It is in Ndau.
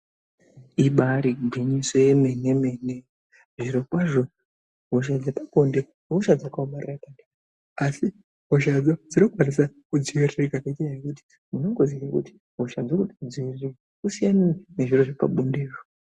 Ibaari gwinyiso yemene mene, zviro kwazvo hosha dzepabonde ihosha dzakaomarara maningi asi hosha idzi dzinokwanisa kudziviririka nenyaya yekuti unenge waingoti hosha dzirikukudzingirira wosiyana nezviro zvepabonde .